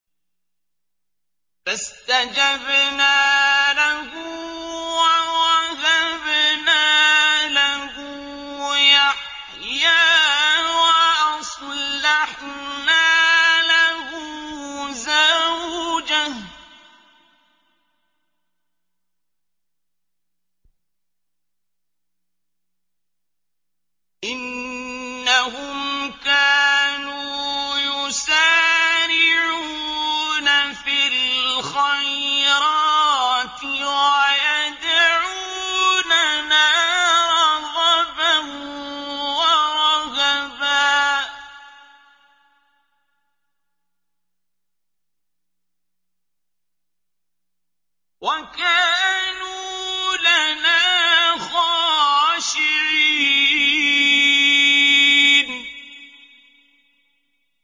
فَاسْتَجَبْنَا لَهُ وَوَهَبْنَا لَهُ يَحْيَىٰ وَأَصْلَحْنَا لَهُ زَوْجَهُ ۚ إِنَّهُمْ كَانُوا يُسَارِعُونَ فِي الْخَيْرَاتِ وَيَدْعُونَنَا رَغَبًا وَرَهَبًا ۖ وَكَانُوا لَنَا خَاشِعِينَ